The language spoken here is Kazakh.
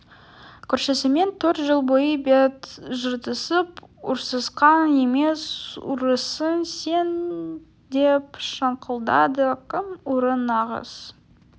көршісімен төрт жыл бойы бет жыртысып ұрсысқан емес ұрысың сен деп шаңқылдады кім ұры нағыз